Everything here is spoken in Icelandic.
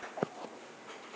Hvað er að hrynja?